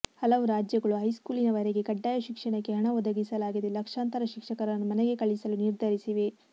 ಹಲವು ರಾಜ್ಯಗಳು ಹೈಸ್ಕೂಲಿನ ವರೆಗೆ ಕಡ್ಡಾಯ ಶಿಕ್ಷಣಕ್ಕೆ ಹಣ ಒದಗಿಸಲಾಗದೆ ಲಕ್ಷಾಂತರ ಶಿಕ್ಷಕರನ್ನು ಮನೆಗೆ ಕಳಿಸಲು ನಿರ್ಧರಿಸಿವೆ